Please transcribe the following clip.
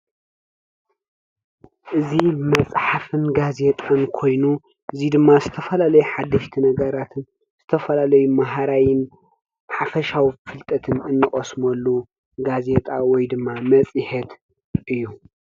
እዚ ብመፅሓፍን ጋዜጣን ኮይኑ እዚ ድማ ዝተፈላለየ ሓደሽቲ ነገራትን ዝተፈላለዩ ማሃራይን ሓፈሻዊ ፍልጠትን እንቐስመሉ ጋዜጣ ወይ ድማ መፅሔት እዩ::